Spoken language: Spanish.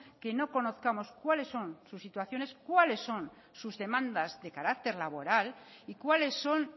que no conozcamos cuáles son sus situaciones cuáles son sus demandas de carácter laboral y cuáles son